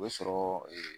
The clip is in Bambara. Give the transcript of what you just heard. O bɛ sɔrɔ